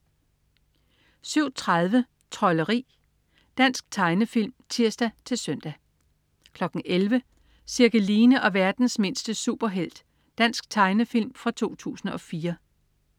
07.30 Trolderi. Dansk tegnefilm (tirs-søn) 11.00 Cirkeline og verdens mindste superhelt. Dansk tegnefilm 2004